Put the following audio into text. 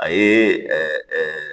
A ye